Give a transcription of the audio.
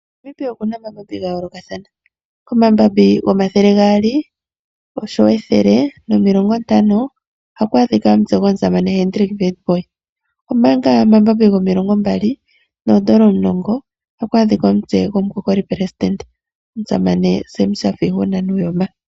Namibia okuna omambabi ga yoolokathana. Komambabi gomathele gaali oshowo ethele, nomilongo ntano ohaku adhika omutse gwatate Hendrick Witbooi, omanga omambabi gomilongo mbali noondola omulongo ohaku adhika omutse gomukokoli presidende, omusamane Sam Shafa-Ishuna Nuuyoma.